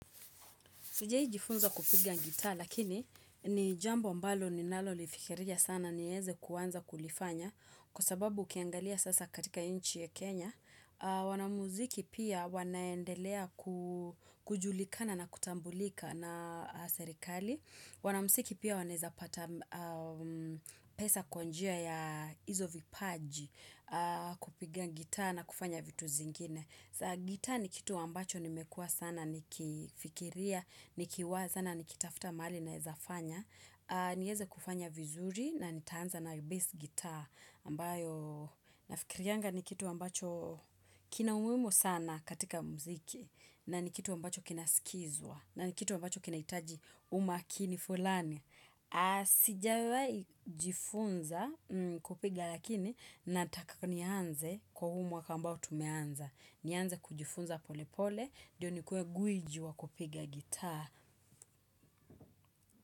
Siwahi jifunza kupiga gita lakini ni jambo ambalo ninalo lifikiria sana ni weze kuanza kulifanya kwa sababu ukiangalia sasa katika nchi ya Kenya. Wanamuziki pia wanaendelea kujulikana na kutambulika na serikali. Wanamuziki pia waneza pesa kwanjia ya izo vipaji kupiga gita na kufanya vitu zingine. Gita ni kitu ambacho nimekua sana nikifikiria, nikiwaza, nikitafta mahali na wezafanya. Nieze kufanya vizuri na nitaanza na bass guitar. Ambayo nafikiriyanga ni kitu ambacho kina umuhimu sana katika muziki. Na ni kitu ambacho kina skizwa. Na ni kitu ambacho kina hitaji umakini fulani. Sijawahi jifunza kupiga lakini nataka nianze kwa huu mwaka ambao tumeanza. Nianza kujifunza polepole, dniyo ni kue gwiji wa kupiga gitaa.